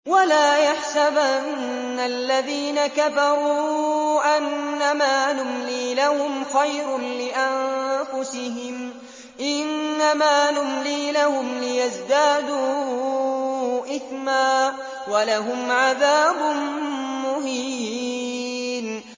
وَلَا يَحْسَبَنَّ الَّذِينَ كَفَرُوا أَنَّمَا نُمْلِي لَهُمْ خَيْرٌ لِّأَنفُسِهِمْ ۚ إِنَّمَا نُمْلِي لَهُمْ لِيَزْدَادُوا إِثْمًا ۚ وَلَهُمْ عَذَابٌ مُّهِينٌ